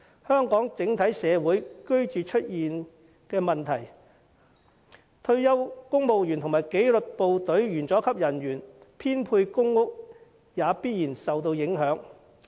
香港整體社會出現居住問題，退休公務員和紀律部隊員佐級人員編配公屋亦必然受到影響。